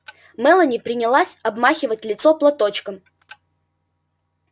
мелани принялась обмахивать лицо платочком